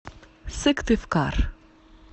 сыктывкар